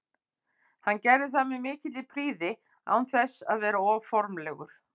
Hann gerir það með mikilli prýði án þess að vera of formlegur.